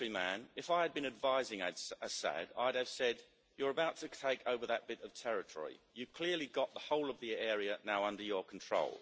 a military man, if I'd been advising Assad, I'd have said you're about to take over that bit of territory, you've clearly got the whole of that area now under your control.